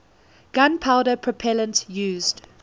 gunpowder propellant used